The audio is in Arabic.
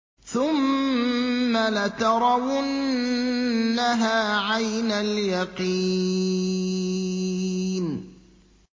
ثُمَّ لَتَرَوُنَّهَا عَيْنَ الْيَقِينِ